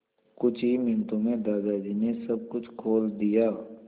कुछ ही मिनटों में दादाजी ने सब कुछ खोल दिया